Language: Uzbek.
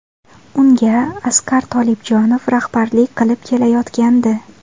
Unga Asqar Tolibjonov rahbarlik qilib kelayotgandi.